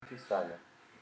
писали